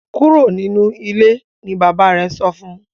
Kúrò nínú ilé! ní bàbá rẹ sọfún.